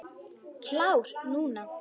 Klár núna.